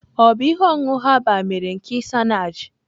Ọ bụ ihe ọṅụṅụ herbal mere nke isenaje?